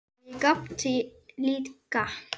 Og ég gapti líka.